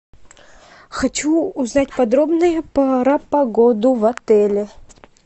хочу узнать подробнее про погоду в отеле